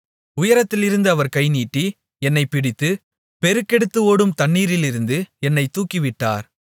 உயரத்திலிருந்து அவர் கைநீட்டி என்னைப் பிடித்து பெருக்கெடுத்து ஓடும் தண்ணீரிலிருந்து என்னைத் தூக்கிவிட்டார்